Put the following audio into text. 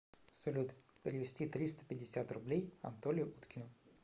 салют перевести триста пятьдесят рублей анатолию уткину